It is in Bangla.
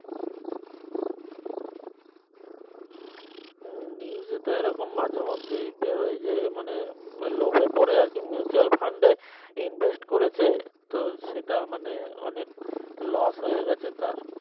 হুম news এ তো এই রকম মাঝে মধ্যেই দেয় যে মানে লোভে পরে আর কি mutual fund এ invest করেছে তো সেটা মানে অনেক loss হয়ে গেছে তার